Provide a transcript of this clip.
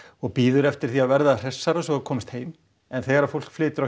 og bíður eftir því að verða hressara svo það komist heim en þegar fólk flytur